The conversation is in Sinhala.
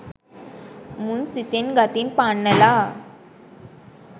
මුන් සිතෙන් ගතින් පන්නල